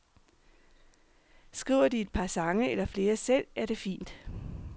Skriver de et par sange eller flere selv, er det fint.